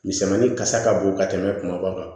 Misɛnmanin kasa ka bon ka tɛmɛ kumaba kan